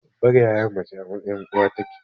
Babbar yaya mace a mtsayin uwa take.